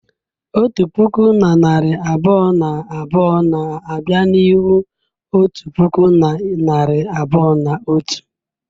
Otu puku na narị abụọ na abụọ na abịa n'ihu otu puku na narị abụọ na otu.